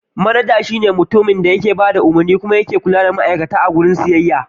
Manaja shi ne mutumin da yake bada umarni kuma yake kula da al'amuran sauran ma'aikata a wajen siyayya.